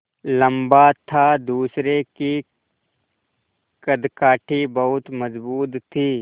लम्बा था दूसरे की कदकाठी बहुत मज़बूत थी